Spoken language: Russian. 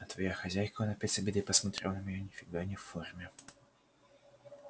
а твоя хозяйка он опять с обидой посмотрел на меня ни фига не в форме